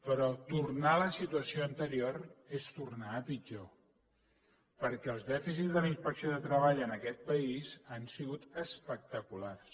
però tornar a la situació anterior és tornar a pitjor perquè els dèficits de la inspecció de treball en aquest país han sigut espectaculars